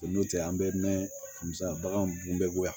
N'o tɛ an bɛ mɛn ka misiya bagan bun bɛ bɔ yan